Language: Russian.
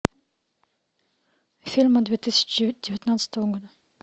фильмы две тысячи девятнадцатого года